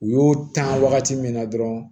U y'o ta wagati min na dɔrɔn